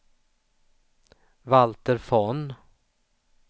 Valter Von